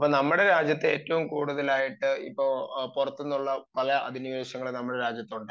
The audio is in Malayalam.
നമ്മുടെ രാജ്യത്ത് ഏറ്റവും കൂടുതലായിട്ട് ഇപ്പൊ പുറത്തു നിന്നുള്ള കുറെ അധിനിവേശം ഉണ്ടായി